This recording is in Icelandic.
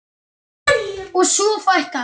Og svo fækkaði þeim.